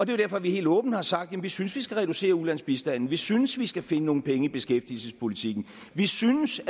det er derfor vi helt åbent har sagt at vi synes at vi skal reducere ulandsbistanden vi synes vi skal finde nogle penge i beskæftigelsespolitikken vi synes